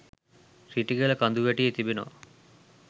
රිටිගල කඳුවැටියේ තිබෙනවා